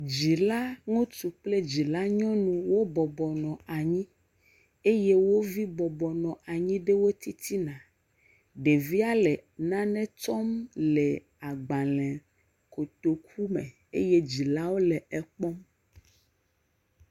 Dzila ŋutsu kple dzila nyɔnu wo bɔbɔ nɔ anyi. Eye wovi bɔbɔ nɔ wo titina. Ɖevia le nane tsɔm le agbalẽkotoku me. Eye dzilawo le ekpɔm